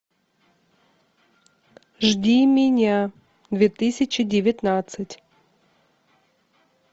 жди меня две тысячи девятнадцать